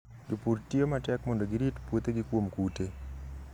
Jopur tiyo matek mondo girit puothegi kuom kute.